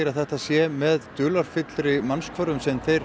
að þetta sé með mannshvörfum sem þeir